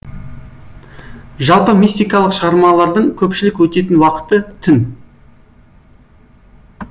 жалпы мистикалық шығармалардың көпшілік өтетін уақыты түн